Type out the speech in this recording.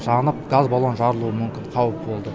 жанып газ баллоны жарылу мүмкін қауіпі болды